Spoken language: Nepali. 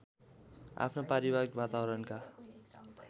आफ्नो पारिवारिक वातावरणका